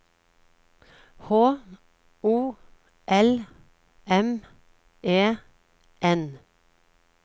H O L M E N